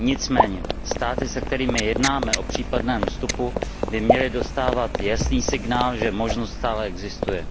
Nicméně státy, se kterými jednáme o případném vstupu, by měly dostávat jasný signál, že možnost stále existuje.